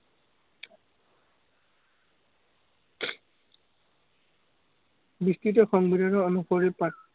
সংবিধানৰ অনুসৰি